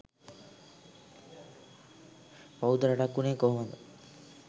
බෞද්ධ රටක් වුනේ කොහොමද